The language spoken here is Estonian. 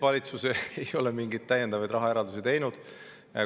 Valitsus ei ole mingeid täiendavaid rahaeraldisi teinud.